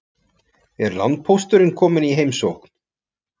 Er landpósturinn kominn í heimsókn?